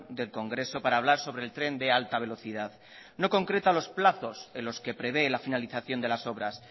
del congreso para hablar sobre el tren de alta velocidad no concreta los plazos en los que prevé la finalización de lasobras